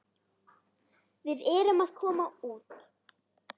Við erum að koma út.